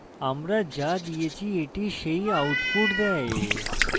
the আমরা দিয়েছি the সেই outputs দেয়